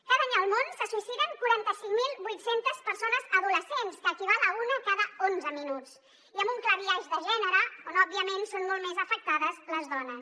cada any al món se suïciden quaranta cinc mil vuit cents persones adolescents que equival a una cada onze minuts i amb un clar biaix de gènere on òbviament són molt més afectades les dones